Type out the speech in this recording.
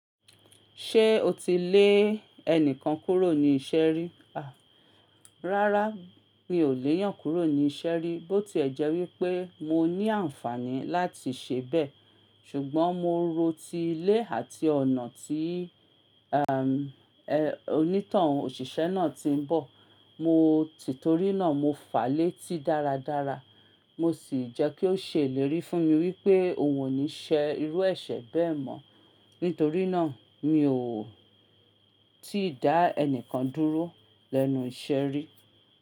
Ṣé o ti lé ẹnìkan kúrò ní ìṣeri? Rárá, mi ò leyàn kúrò ní ìṣeré bó ti ẹ̀ jẹ́ wípé mo ní àǹfààní láti ṣe bẹ́ẹ̀. Ṣùgbọ́n mo ro ti ilé àti ọ̀nà tí emm, e, onítohun òṣìṣẹ́ náà ti ń bọ̀. Mo tìtorí náà mo fàá létí dáradára. Mo sì jẹ́ kí ó ṣèlérí fún mi wípé òun ò ní ṣe irú ẹ̀ṣẹ̀ bẹ́ẹ̀ mọ́. Nítorí náà mi ò ti dá ẹnìkan dúró lẹ́nu ìṣeri.